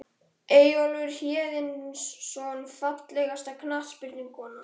Eyjólfur Héðinsson Fallegasta knattspyrnukonan?